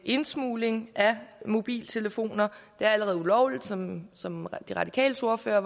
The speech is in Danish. indsmugling af mobiltelefoner det er allerede ulovligt som som de radikales ordfører